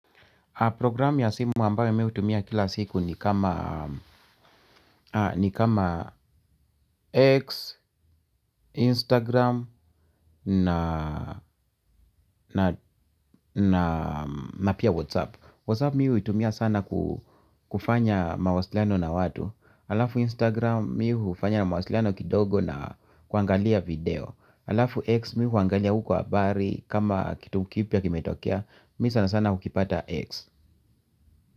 Programu ya simu ambayo mimi hutumia kila siku ni kama ni kama X, Instagram na na na pia Whatsapp Whatsapp mimi huitumia sana kufanya mawasiliano na watu. Alafu Instagram mimi hufanya mawasiliano kidogo na kuangalia video. Alafu X mimi huangalia huko habari kama kitu kipya kimetokea. Mimi sana sana hukipata X.